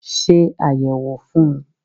Ṣe àyẹ̀wò fún un